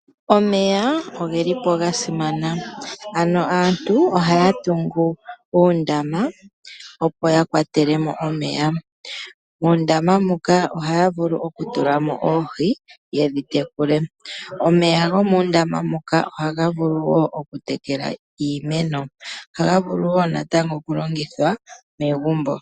Omeya ogelipo gasimana. Ano aantu ohaya tungu uundama opo yakwatelemo omeya. Muundama muka ohaya vulu okutulamo oohi yedhi tekule. Omeya gomuundama muka ohaga vulu wo okutekela iimeno go ohaga vulu natango okulongithwa megumbo.